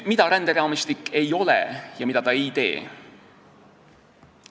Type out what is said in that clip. Mida ränderaamistik ei ole ja mida ta ei tee?